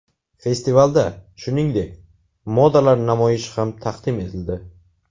Festivalda, shuningdek, modalar namoyishi ham taqdim etildi.